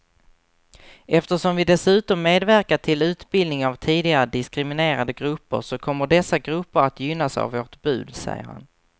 Eftersom vi dessutom medverkar till utbildning av tidigare diskriminerade grupper så kommer dessa grupper att gynnas av vårt bud, säger han.